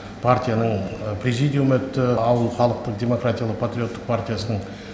партияның президиумы өтті ауыл халықтық демократиялық патриоттық партиясының